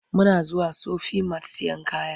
Muna zuwa Sufi mat sayen kaya.